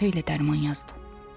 Bir xeyli dərman yazdı.